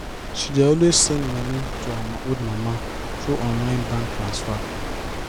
she dey always send monii to her old mama through online bank transfer